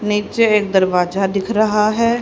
नीचे एक दरवाजा दिख रहा है।